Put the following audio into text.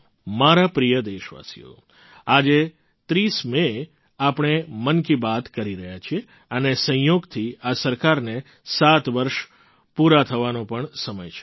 મારા પ્રિય દેશવાસીઓ આજે ૩૦ મેએ આપણે મન કી બાત કરી રહ્યા છીએ અને સંયોગથી આ સરકારને સાત વર્ષ પૂરા થવાનો પણ સમય છે